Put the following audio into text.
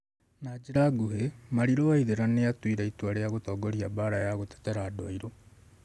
Na njĩra nguhĩ, Mariru Waithera nĩ atuire itua rĩa gũtongoria mbaara ya gũtetera andũ airũ.